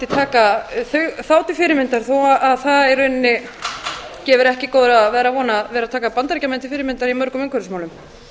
taka þá til fyrirmyndar þó að það gefi ekki góða að vera að taka bandaríkjamenn til fyrirmyndar í mörgum umhverfismálum